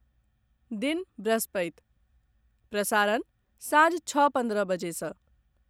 दिन बृहस्पति, प्रसारण सांझ छओ पन्द्रह बजे सँ